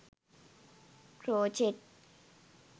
crochet